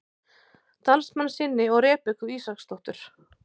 Dalmannssyni og Rebekku Ísaksdóttur.